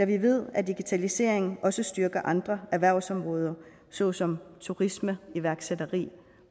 vi ved at digitalisering også styrker andre erhvervsområder såsom turisme iværksætteri